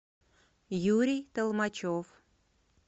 юрий толмачев